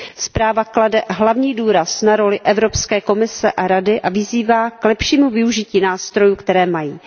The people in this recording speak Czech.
Zpráva klade hlavní důraz na roli Evropské komise a Rady a vyzývá lepšímu využití nástrojů, které mají.